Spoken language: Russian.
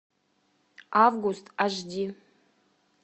август аш ди